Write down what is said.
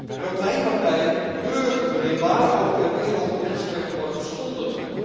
En ook mijn partij betreurt het wanneer waar ook ter wereld de mensenrechten worden geschonden.